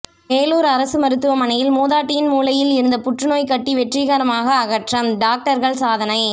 வேலூர் அரசு மருத்துவமனையில் மூதாட்டியின் மூளையில் இருந்த புற்றுநோய் கட்டி வெற்றிகரமாக அகற்றம் டாக்டர்கள் சாதனை